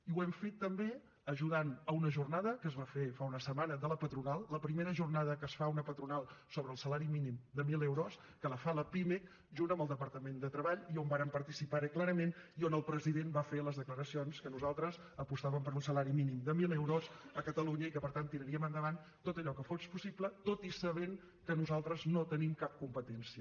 i ho hem fet també ajudant a una jornada que es va fer fa una setmana de la patronal la primera jornada que es fa a una patronal sobre el salari mínim de mil euros que la fa la pimec junt amb el departament de treball i on vàrem participar clarament i on el president va fer les declaracions que nosaltres apostàvem per un salari mínim de mil euros a catalunya i que per tant tiraríem endavant tot allò que fos possible tot i sabent que nosaltres no tenim cap competència